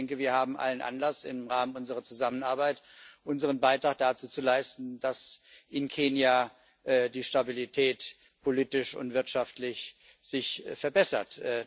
Ich denke, wir haben allen Anlass, im Rahmen unserer Zusammenarbeit unseren Beitrag dazu zu leisten, dass sich in Kenia die Stabilität politisch und wirtschaftlich verbessert.